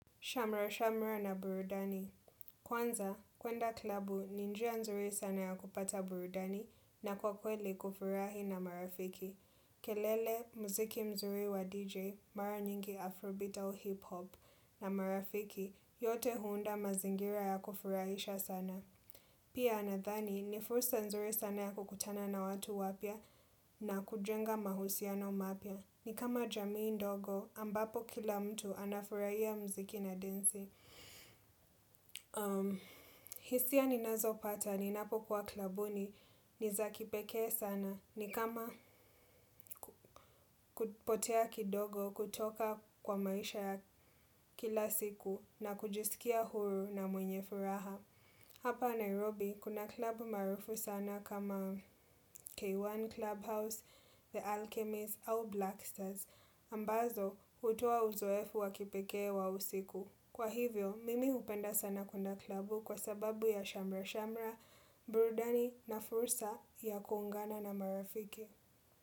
Shamra Shamra na burudani Kwanza, kwenda klabu ni njia nzuri sana ya kupata burudani na kwa kweli kufurahi na marafiki. Kelele, mziki mzuri wa DJ, mara nyingi Afro Beat au Hip Hop na marafiki yote huunda mazingira ya kufurahisha sana. Pia nadhani ni fursa nzuri sana ya kukutana na watu wapya na kujenga mahusiano mapya. Ni kama jamii ndogo ambapo kila mtu anafurahia mziki na densi. Hisia ninazo pata ninapo kuwa klabuni ni za kipekee sana. Ni kama kupotea kidogo kutoka kwa maisha ya kila siku na kujisikia huru na mwenye furaha. Hapa Nairobi kuna klabu maarufu sana kama K1 Clubhouse, The Alchemist au Blacksters. Ambazo hutoa uzoefu wakipekee wa usiku Kwa hivyo, mimi hupenda sana kwenda klabu kwa sababu ya shamra-shamra, burudani na fursa ya kuungana na marafiki.